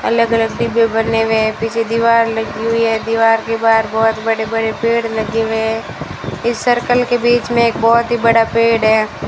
अलग-अलग डिब्बे बने हुए हैं पीछे दीवार लगी हुई है दीवार के बाहर बहुत बड़े-बड़े पेड़ लगे हुए हैं इस सर्कल के बीच में एक बहुत ही बड़ा पेड़ है।